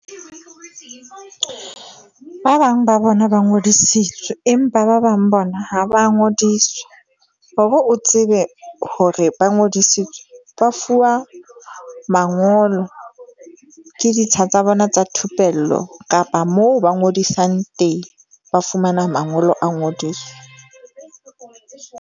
Ba bang ba bona ba ngodisitswe, empa ba bang bona ha ba ngodiswa, hore o tsebe hore ba ngodisitswe ba fuwa mangolo ke ditsha tsa bona tsa thupello kapa moo ba ngodisang teng, ba fumana mangolo a ngodiso.